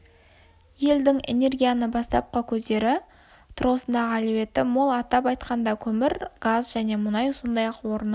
елдің энегрияның бастапқы көздері тұрғысындағы әлеуеті мол атап айтқанда көмір газ және мұнай сондай-ақ орны